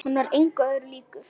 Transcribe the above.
Hann var engum öðrum líkur.